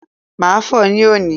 Màá fò ó ní òní